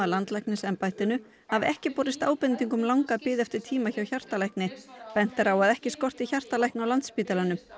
landlæknisembættinu hafi ekki borist ábending um langa bið eftir tíma hjá hjartalækni bent er á að ekki skorti hjartalækna á Landspítalanum